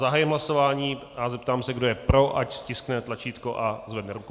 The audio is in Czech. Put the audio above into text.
Zahájím hlasování a zeptám se, kdo je pro, ať stiskne tlačítko a zvedne ruku.